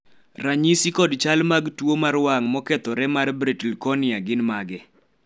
ranyisi kod chal mag tuo mar wang mokethore mar Brittle cornea gin mage?